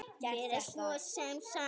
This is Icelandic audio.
Mér er svo sem sama.